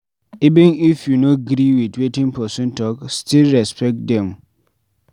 Even if you no gree with wetin person talk, still respect the person